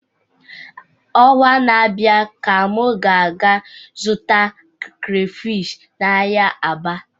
Ọnwa na-abịa ka m ga-aga zụta crayfish n'ahịa Aba